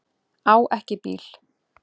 Á ekki bíl.